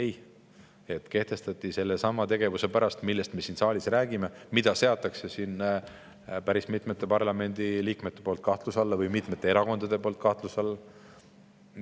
Ei, need kehtestati sellesama tegevuse pärast, millest me siin saalis räägime, ehkki päris mitmed parlamendiliikmed või erakonnad seavad selle kahtluse alla.